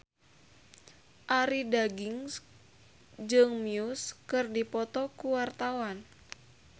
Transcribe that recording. Arie Daginks jeung Muse keur dipoto ku wartawan